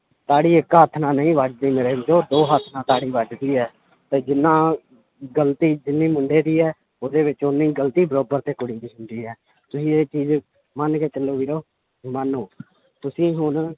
ਤਾੜੀ ਇੱਕ ਹੱਥ ਨਾਲ ਨਹੀਂ ਵੱਜਦੀ ਮੇਰੇ ਵੀਰੋ ਦੋ ਹੱਥਾਂ ਤਾੜੀ ਵੱਜਦੀ ਹੈ ਤਾਂ ਜਿੰਨਾ ਗ਼ਲਤੀ ਜਿੰਨੀ ਮੁੰਡੇ ਦੀ ਹੈ ਉਹਦੇ ਵਿੱਚ ਓਨੀ ਗ਼ਲਤੀ ਬਰਾਬਰ ਤੇ ਕੁੜੀ ਦੀ ਹੁੰਦੀ ਹੈ ਤੁਸੀਂ ਇਹ ਚੀਜ਼ ਮੰਨ ਕੇ ਚੱਲੋ ਵੀਰੋ ਮੰਨੋ ਤੁਸੀਂ ਹੁਣ